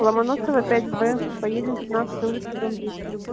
ломоносова пять б поедем пятнадцатая улица дом десять